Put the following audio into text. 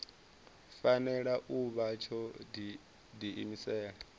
fanela u vha tsho diimisela